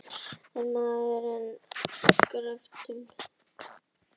Er maðurinn genginn af göflunum?